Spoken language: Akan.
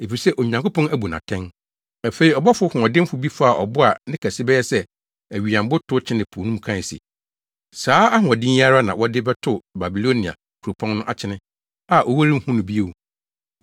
Afei, ɔbɔfo hoɔdenfo bi faa ɔbo a ne kɛse bɛyɛ sɛ awiyammo tow kyenee po mu kae se, “Saa ahoɔden yi ara na wɔde bɛtow Babilonia kuropɔn no akyene, a wɔrenhu no bio.